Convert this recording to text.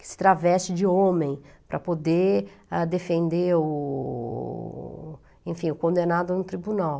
que se traveste de homem para poder a defender o enfim o condenado no tribunal.